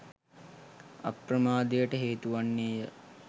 අප්‍රමාදයට හේතු වන්නේ ය